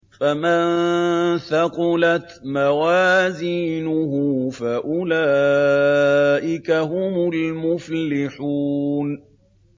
فَمَن ثَقُلَتْ مَوَازِينُهُ فَأُولَٰئِكَ هُمُ الْمُفْلِحُونَ